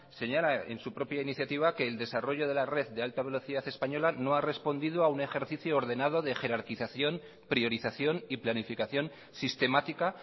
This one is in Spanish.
señala en su propia iniciativa que el desarrollo de la red de alta velocidad española no ha respondido a un ejercicio ordenado de jerarquización priorización y planificación sistemática